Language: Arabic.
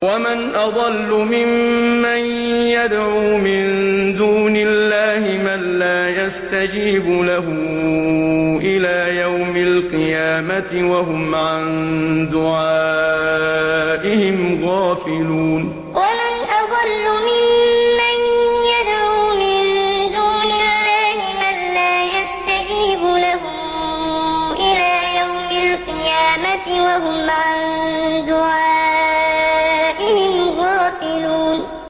وَمَنْ أَضَلُّ مِمَّن يَدْعُو مِن دُونِ اللَّهِ مَن لَّا يَسْتَجِيبُ لَهُ إِلَىٰ يَوْمِ الْقِيَامَةِ وَهُمْ عَن دُعَائِهِمْ غَافِلُونَ وَمَنْ أَضَلُّ مِمَّن يَدْعُو مِن دُونِ اللَّهِ مَن لَّا يَسْتَجِيبُ لَهُ إِلَىٰ يَوْمِ الْقِيَامَةِ وَهُمْ عَن دُعَائِهِمْ غَافِلُونَ